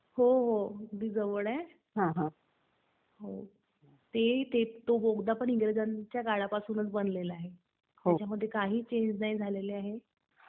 हो, हो. अगदी जवळ आहे. तो बोगदा पण इंग्रजांच्या काळापासूनच बनलेला आहे. त्याच्यामध्ये काही चेंज नाही झालेला आहे.